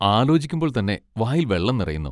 ആലോചിക്കുമ്പോൾ തന്നെ വായിൽ വെള്ളം നിറയുന്നു.